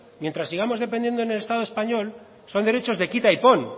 mientras sigamos dependiendo del estado español son derechos de quita y pon